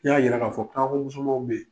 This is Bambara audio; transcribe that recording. I y'a jira k'a fɔ kaako musomanw bɛ yen.